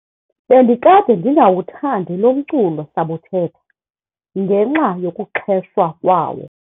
Bendikade ndingawuthandi lo mculo-sabuthetha ngenxa yokuxheshwa kwawo.